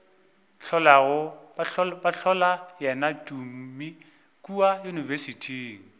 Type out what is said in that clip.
hlola yena tumi kua yunibesithing